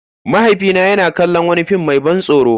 Mahaifina yana kallon wani fim mai ban tsoro.